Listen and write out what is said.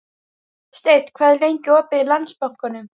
Steinn, hvað er lengi opið í Landsbankanum?